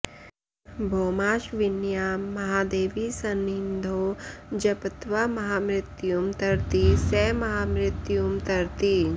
भौमाश्विन्यां महादेवीसंनिधौ जप्त्वा महामृत्युं तरति स महामृत्युं तरति